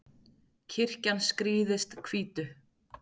kirkjan skrýðist hvítu